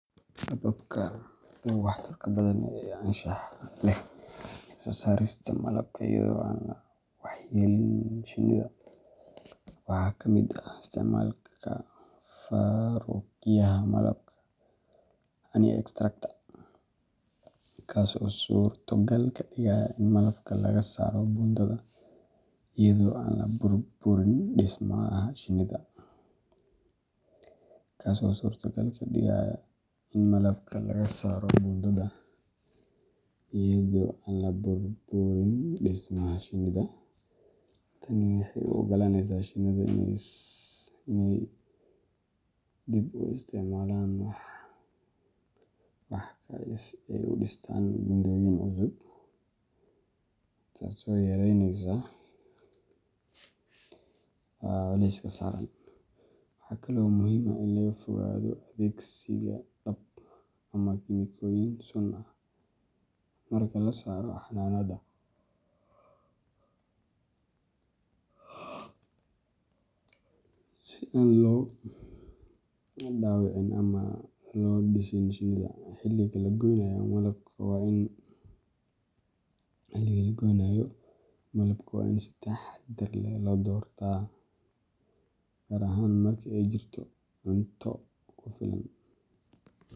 Hababka ugu waxtarka badan iyo anshaxa leh ee soo saarista malabka iyadoo aan la waxyeelleynin shinnida waxaa ka mid ah isticmaalka faaruqiyaha malabka honey extractor, kaas oo suurtogal ka dhigaya in malabka laga saaro buundada iyadoo aan la burburin dhismaha shinnida. Tani waxay u oggolaanaysaa shinnida inay dib u isticmaalaan wax-ka si ay u dhistaan buundooyin cusub, taasoo yareyneysa culayska saaran. Waxaa kale oo muhiim ah in laga fogaado adeegsiga dab ama kiimikooyin sun ah marka la saarayo xannaanada, si aan loo dhaawicin ama loo disin shinnida. Xilliga la gooynayo malabka waa in si taxaddar leh loo doortaa, gaar ahaan marka ay jirto cunto kugu filan.